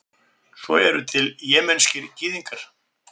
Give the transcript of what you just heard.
svo eru til jemenskir gyðingar